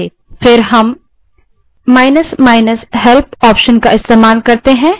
तब हम help option का इस्तेमाल करते हैं